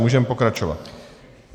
Můžeme pokračovat.